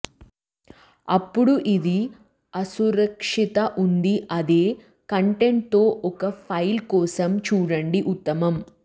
అప్పుడు ఇది అసురక్షిత ఉంది అదే కంటెంట్ తో ఒక ఫైల్ కోసం చూడండి ఉత్తమం